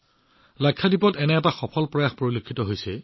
লাক্ষাদ্বীপত এনে এটা সফল প্ৰচেষ্টা কৰা হৈছে